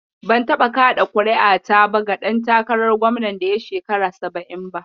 Ban taɓa kaɗa ƙuri'ata ba ga ɗan takarar gwamnan da ya shekara saba'in ba.